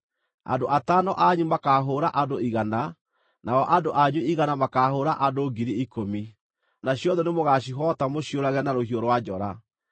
Andũ atano anyu makaahũũra andũ igana, nao andũ anyu igana makaahũũra andũ ngiri ikũmi, nacio thũ nĩ mũgaacihoota mũciũrage na rũhiũ rwa njora.